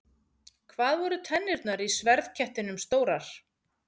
Hvað voru tennurnar í sverðkettinum stórar?